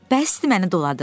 Bəsdir məni doladın.